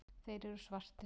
Þeir eru svartir.